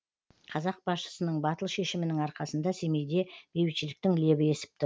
қазақ басшысының батыл шешімінің арқасында семейде бейбітшіліктің лебі есіп тұр